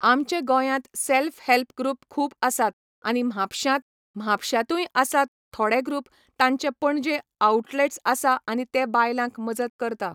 आमचे गोंयांत self help group खूब आसात आनी म्हापश्यांत, म्हापश्यांतूय आसात थोडे ग्रूप तांचे पणजे आउ्टलेट्स आसा आनी तें बायलांक मजत करता